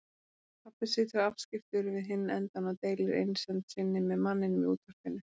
Pabbi situr afskiptur við hinn endann og deilir einsemd sinni með manninum í útvarpinu.